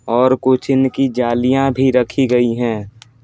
और कुछ इनकी जालियां भी रखी गई हैं ।